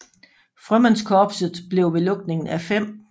Frømandskorpset blev ved lukningen af 5